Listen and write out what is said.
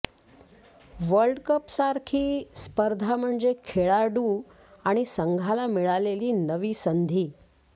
वर्ल्डकपसारखी स्पर्धा म्हणजे खेळाडू अन् संघाला मिळालेली नवी संधी